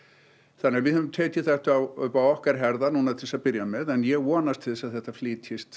þannig að við höfum tekið þetta upp á okkar herðar til þess að byrja með en ég vonast til að þetta flytjist